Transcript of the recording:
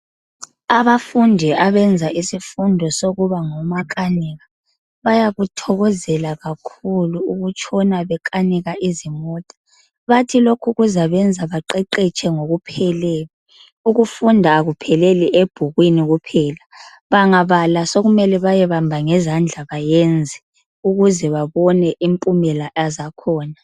Abafundi abenza isifundo sokuba ngomakanika , bayakuthokozela kakhulu ukutshona bekanika izimota , bathi lokhu kuzabenza beqeqetshe ngokupheleleyo , ukufunda akupheleli ebhukwini kuphela , bangabala sokumele bayebamba ngezandla bayenze ukuze babone impumela zakhona